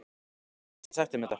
Ég get ekki sagt þeim þetta.